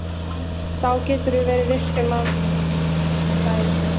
Það geturðu verið viss um, sagði Sveinn.